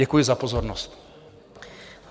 Děkuji za pozornost.